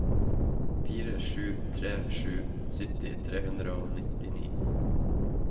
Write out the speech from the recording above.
fire sju tre sju sytti tre hundre og nittini